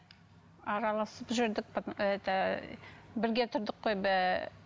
араласып жүрдік это бірге тұрдық қой